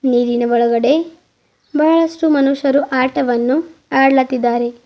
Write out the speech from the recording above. ನೀರಿನ ಒಳಗಡೆ ಬಹಳಷ್ಟು ಮನುಷ್ಯರು ಆಟವನ್ನು ಅಡ್ಲಾತಿದ್ದಾರೆ.